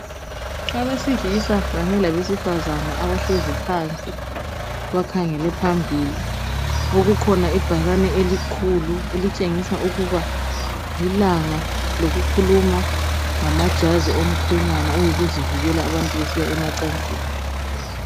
abesilisa kanye labesifazana bahlezi phansi bakhangele phambili okukhona ibhakane elikhulu elitshengisa ukuba lilanga lokukhuluma ngamajazi womkhwenyana oyikuzivikela abantu besiya emacansini